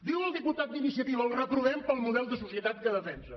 diu el diputat d’iniciativa el reprovem pel model de societat que defensa